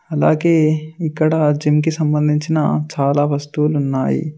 అలాగే ఇక్కడ జిమ్ కి సంబంధించిన చాలా వస్తువులు ఉన్నాయి.